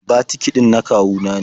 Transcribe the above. Batiki ɗin na kawu na ne.